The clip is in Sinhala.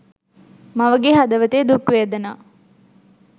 මවගේ හදවතේ දුක් වේදනා